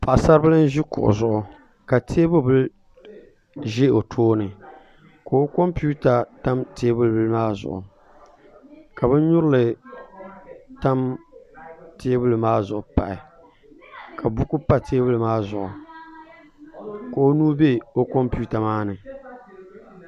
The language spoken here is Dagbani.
Paɣasaribili n ʒi kuɣu zuɣu ka teebuli bili ʒɛ o tooni ka o kompiuta tam teebuli bili maa zuɣu ka bin nyurili tam teebuli bili maa zuɣu pahi ka buku pa teebuli maa zuɣu ka o nuu bɛ o kompita maa ni